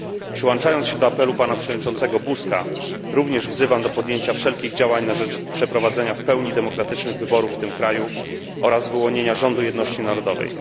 Przyłączając się do apelu pana przewodniczącego Buzka, również wzywam do podjęcia wszelkich działań na rzecz przeprowadzenia w pełni demokratycznych wyborów w tym kraju oraz wyłonienia rządu jedności narodowej.